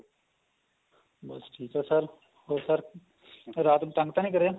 ਬੱਸ ਠੀਕ ਏ sir ਹੋਰ sir sir ਰਾਤ ਨੂੰ ਤੰਗ ਤਾਂ ਨਹੀਂ ਕਰਿਆ